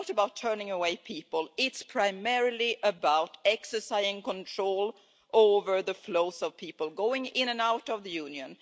It's not about turning away people, it is primarily about exercising control over the flows of people going in and out of the Union.